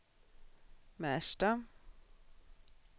Märsta